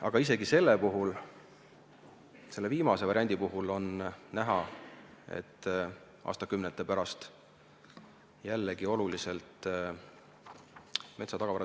Aga isegi selle viimase variandi puhul on näha, et aastakümnete pärast metsa tagavara jälle oluliselt kasvab.